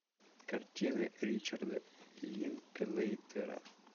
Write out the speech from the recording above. картины ричарда линклейтера